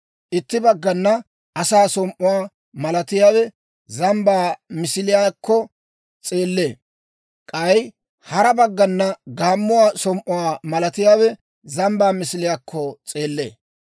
Itti baggana asaa som"uwaa malatiyaawe zambbaa misiliyaakko s'eellee; k'ay hara baggana gaammuwaa som"uwaa malatiyaawe zambbaa misiliyaakko s'eellee.